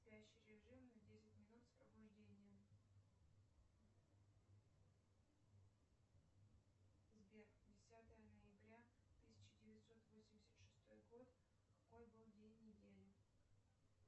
спящий режим на десять минут с пробуждением сбер десятое ноября тысяча девятьсот восемьдесят шестой год какой был день недели